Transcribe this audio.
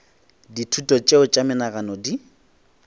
dithuto tšeo tša menagano di